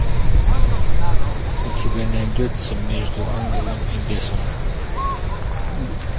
у тебя найдется между ангелом и бесом